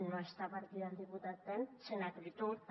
no està per aquí el diputat ten sin acritud també